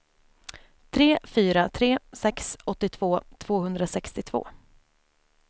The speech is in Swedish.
tre fyra tre sex åttiotvå tvåhundrasextiotvå